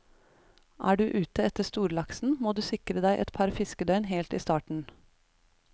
Er du ute etter storlaksen, må du sikre deg et par fiskedøgn helt i starten.